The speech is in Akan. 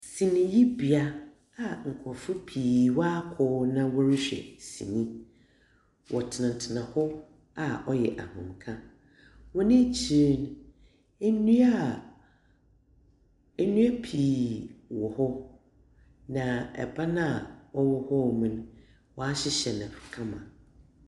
Siniyibea a nkurɔfoɔ pii wɔakɔ hɔ na wɔrehwɛ sini. Wɔtenatena hɔ a ɔyɛ ahomeka. Wɔn ekyir no, nnua a nnua pii wɔ hɔ, na ban a ɔwɔ hɔnom no wɔahyehyɛ no kama.